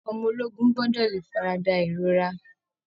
Ọmọ ológun gbọ́ọ́dọ̀ lè farada ìrora